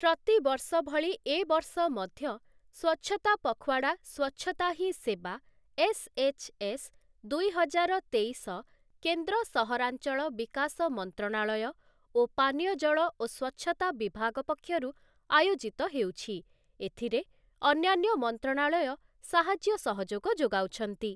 ପ୍ରତିବର୍ଷ ଭଳି ଏବର୍ଷ ମଧ୍ୟ ସ୍ୱଚ୍ଛତା ପଖୱାଡ଼ା ସ୍ୱଚ୍ଛତା ହିଁ ସେବା ଏସ୍ଏଚ୍ଏସ୍ ଦୁଇହଜାର ତେଇଶ କେନ୍ଦ୍ର ସହରାଞ୍ଚଳ ବିକାଶ ମନ୍ତ୍ରଣାଳୟ ଓ ପାନୀୟଜଳ ଓ ସ୍ୱଚ୍ଛତା ବିଭାଗ ପକ୍ଷରୁ ଆୟୋଜିତ ହେଉଛି, ଏଥିରେ ଅନ୍ୟାନ୍ୟ ମନ୍ତ୍ରଣାଳୟ ସାହାଯ୍ୟ ସହଯୋଗ ଯୋଗାଉଛନ୍ତି ।